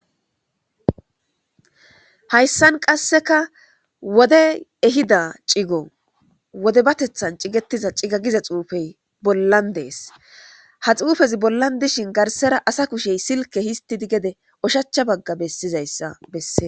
Hayssan qaseka woddeyi ehida ciggo wodebatethan ciggetiza cigga giza xuffeyi bollan deesi ha xuufeyi bollan dishshin garsara asa kusheyi silkke gede histidi oshshacha bagga besishe dees.